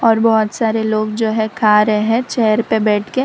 और बहोत सारे लोग जो है खा रहे हैं चेयर पे बैठ के।